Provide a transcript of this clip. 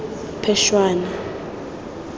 phešwana